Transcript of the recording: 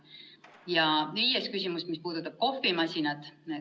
Ja viies küsimus, mis puudutab kohvimasinat.